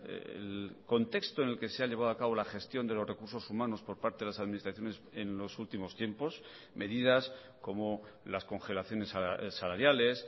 el contexto en el que se ha llevado a cabo la gestión de los recursos humanos por parte de las administraciones en los últimos tiempos medidas como las congelaciones salariales